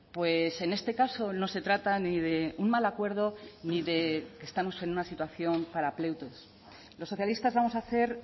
pues en este caso no se trata ni de un mal acuerdo ni de que estamos en una situación para pleitos los socialistas vamos a hacer